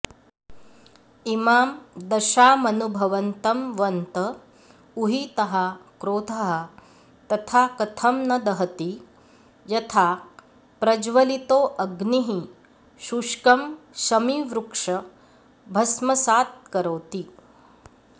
इमां दशामनुभवन्तं वन्त उहीतः क्रोधः तथा कथं न दहति यथा प्रज्वलितोऽग्निः शुष्कं शमीवृक्ष भस्मसात्करोति